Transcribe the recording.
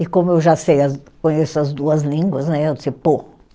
E como eu já sei as, conheço as duas línguas, né, aí eu disse, pô.